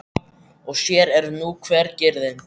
Og sér eru nú hver griðin!